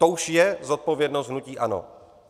To už je zodpovědnost hnutí ANO.